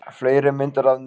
Fleiri myndir að neðan: